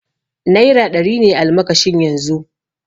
Naira ɗari ne almakashin yanzu